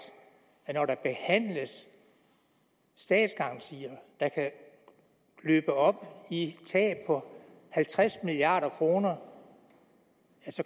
at hvor der behandles statsgarantier der kan løbe op i et tab på halvtreds milliard kroner